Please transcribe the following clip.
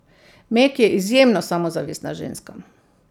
Meg je izjemno samozavestna ženska.